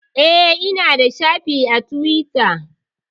Eh, Ina da shafi a Tiwita